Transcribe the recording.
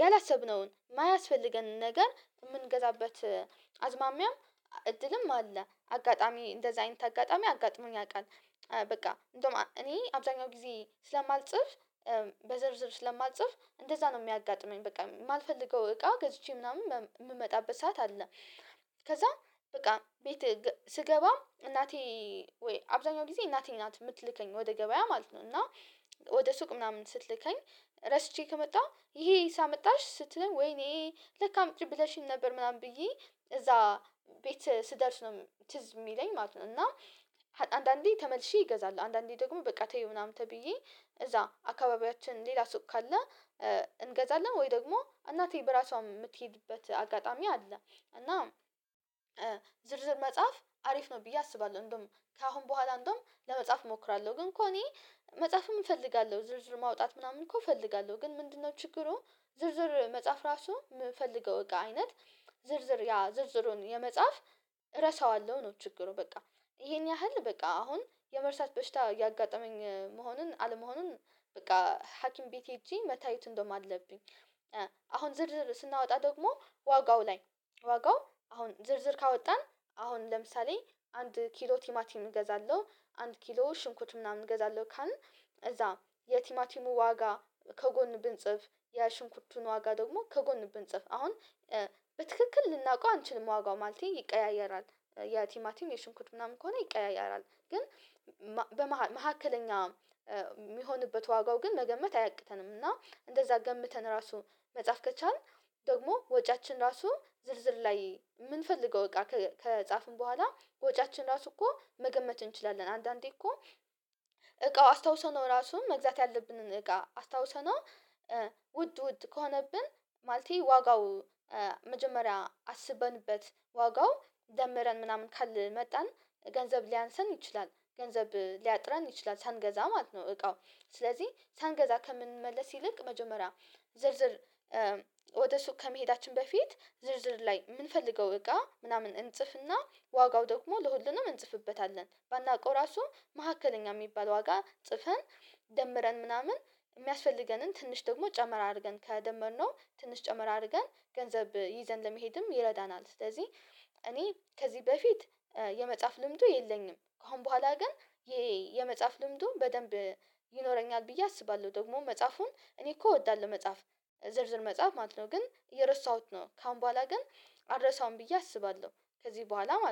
ያላሰብነውን ማያስፈልገንን ነገር ምንገዛበት አዝማሚያም እድልም አለ። አጋጣሚ እንደዛ አይንተ አጋጣሚ አጋጥሞኝ ያውቃል። በቃ እንደውም እኔ አብዛኛው ጊዜ ስለማልጽፍ፥ በዝርዝር ስለማልጽፍ፥ እንደዛ ነው የሚያጋጥመኝ በቃ። ማልፈልገው እቃ ገዝቼ ምናምን የምመጣበት ሰዓት አለ። ከዛ በቃ ቤት ስገባ እናቴ ወይ አብዛኛው ጊዜ እናቴ ናት የምትልከኝ ወደ ገበያ ማለት ነው እና ወደ ሱቅ ምናምን ስትልከኝ ረስቼ ከመጣሁ፥ ይሄ ይሄስ አመጣሽ ስትለኝ፥ ወይኔ ለካ አምጪ ብለሽኝ ነበር ምናምን ብዬ እዛ ቤት ስደርስ ነው ትዝ ሚለኝ ማለት ነው እና አንዳንዴ ተመልሼ እገዛለሁ አንዳንዴ ደግሞ በቃ ተይ ምናምን ተብዬ እዛ አካባቢያችን ሌላ ሱቅ ካለ እንገዛለን ወይ ደግሞ እናቴ በራሷ ምትሄድበት አጋጣሚ አለ እና ዝርዝር መጻፍ አሪፍ ነው ብዬ አስባለሁ። እንደውም ከአሁን በኋላ እንደውም ለመጻፍ እሞክራለሁ ግን እኮ እኔ መጻፍም እፈልጋለሁ ዝርዝር ማውጣት ምናምን እኮ እፈልጋለሁ። ግን ምንድነው ችግሩ፥ ዝርዝር መጻፍ እራሱ ምፈልገው እቃ አይነት ዝርዝር ያ ዝርዝሩን የመጻፍ እረሳዋለሁ ነው ችግሩ በቃ ይሄን ያህል በቃ አሁን የመርሳት በሽታ እያጋጠመኝ መሆኑን አለመሆኑን በቃ ሀኪም ቤት ሄጄ መታየት እንደውም አለብኝ አሁን ዝርዝር ስናወጣ ደግሞ፥ ዋጋው ላይ ዋጋው አሁን ዝርዝር ካወጣን አሁን ለምሳሌ አንድ ኪሎ ቲማቲም እገዛለሁ አንድ ኪሎ ሽንኩርት ምናምን እገዛለሁ ካልን እዛ የቲማቲሙን ዋጋ ከጎን ብንጽፍ የሽንኩርቱን ዋጋ ደግሞ ከጎን ብንጽፍ አሁን በትክክል ልናውቀው አንችልም ዋጋው ማለቴ ይቀያየራል። የቲማቲም የሽንኩርት ምናምን ከሆነ ይቀያየራል ግን በመኃከለኛ ሚሆንበት ዋጋው ግን መገመት አያቅተንም እና እንደዛ ገምተን ራሱ መጻፍ ከቻልን ደግሞ ወጪያችን ራሱ ዝርዝር ላይ ምንፈልገው እቃ ከጻፍን በኋላ ወጪያችን ራሱ እኮ መገመት እንችላለን አንዳንዴ እኮ እቃው አስታውሰነው ራሱ መግዛት ያለብንን እቃ አስታውሰነው ውድ ውድ ከሆነብን ማለቴ ዋጋው መጀመሪያ አስበንበት ዋጋው ደምረን ምናምን ካልመጣን ገንዘብ ሊያንሰን ይችላል፥ ገንዘብ ሊያጥረን ይችላል ሳንገዛ ማለት ነው እቃው። ስለዚህ ሳንገዛ ከምንመለስ ይልቅ መጀመሪያ ዝርዝር ወደ ሱቅ ከመሄዳችን በፊት ዝርዝር ላይ ምንፈልገው እቃ ምናምን እንጽፍና ዋጋው ደግሞ ለሁሉንም እንጽፍበታለን። ባናውቀው ራሱ መኃከለኛ ሚባል ዋጋ ጽፈን ደምረን ምናምን ሚያስፈልገንን ትንሽ ደግሞ ጨመር አድርገን ከደመርነው ትንሽ ጨመር አድርገን ገንዘብ ይዘን ለመሄድም ይረዳናል። ስለዚህ እኔ ከዚህ በፊት የመጻፍ ልምዱ የለኝም። ከአሁን በኋላ ግን የመጻፍ ልምዱ በደንብ ይኖረኛል ብዬ አስባለሁ። ደግሞ መጻፉን እኔ እኮ እወዳለሁ መጻፍ ዝርዝር መጻፍ ማለት ነው። ግን እየረሳሁት ነው ከአሁን በኋላ ግን አልረሳውም ብዬ አስባለሁ፥ ከዚህ በኋላ ማለት ነው።